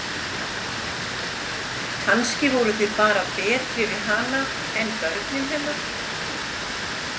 Kannski voruð þið bara betri við hana en börnin hennar.